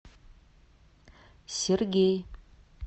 сергей